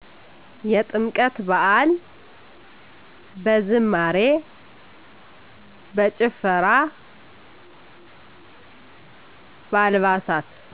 የጥምቀት በዐል። በዝማሬ፣ በጭፈራ፣ በአልባሳት